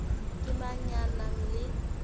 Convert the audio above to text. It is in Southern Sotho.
ke mang ya nang le